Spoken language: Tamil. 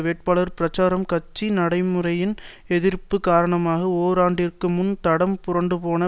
வேட்பாளர் பிரச்சாரம் கட்சி நடைமுறையின் எதிர்ப்பு காரணமாக ஓராண்டிற்கு முன் தடம் புரண்டுபோன